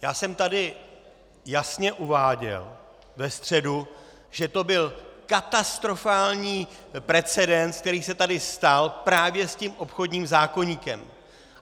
Já jsem tady jasně uváděl ve středu, že to byl katastrofální precedens, který se tady stal, právě s tím obchodním zákoníkem!